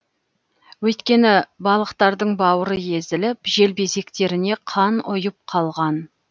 өйткені балықтардың бауыры езіліп желбезектеріне қан ұйып қалған